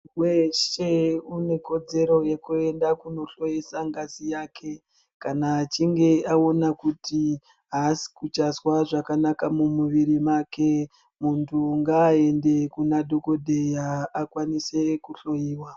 Weshe une kodzero yekuenda kunohloyesa ngazi yake, kana achinge aona kuti haasi kuchazwa zvakanaka mumuviri make. Muntu ngaaende kuna dhokodheya akwanise kuhloiwa.